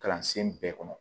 Kalansen bɛɛ kɔnɔ